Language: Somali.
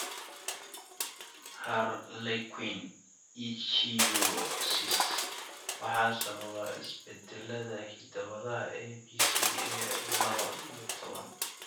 Harlequin ichthyosis waxaa sababa isbeddellada hidda-wadaha ABCA lawo iyo toban.